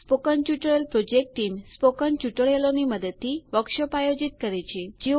spoken tutorial project team spoken ટ્યુટોરિયલોની મદદથી workshop આયોજિત કરે છે